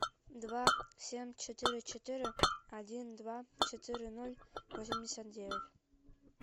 два семь четыре четыре один два четыре ноль восемьдесят девять